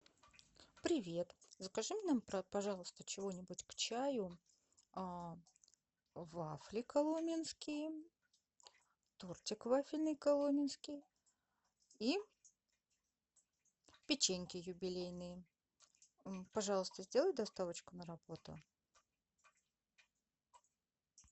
привет закажи нам пожалуйста чего нибудь к чаю вафли коломенские тортик вафельный коломенский и печеньки юбилейные пожалуйста сделай доставочку на работу